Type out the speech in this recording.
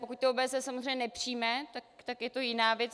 Pokud to OBSE samozřejmě nepřijme, tak je to jiná věc.